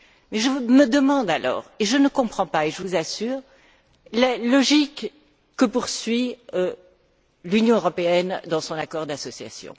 Mais je me demande alors et je ne comprends pas je vous assure les logiques que poursuit l'Union européenne dans son accord d'association.